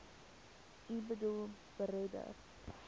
u boedel beredder